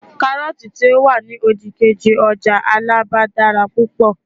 karọọti ti o wani odikeji ọjà alaba dara púpò